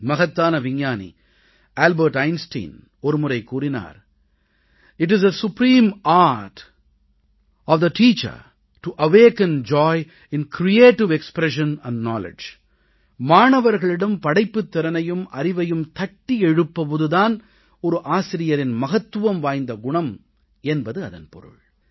மகத்தான விஞ்ஞானி Albert Einstein ஒரு முறை கூறினார் it is the supreme art of the teacher to awaken joy in creative expression and knowledge மாணவர்களிடம் படைப்புத் திறனையும் அறிவையும் தட்டி எழுப்புவது தான் ஒரு ஆசிரியரின் மகத்துவம் வாய்ந்த குணம் என்பது அதன் பொருள்